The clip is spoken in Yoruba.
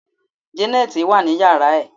janet wa ni yara ẹ